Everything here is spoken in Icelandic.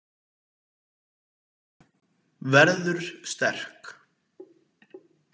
Verður sterk.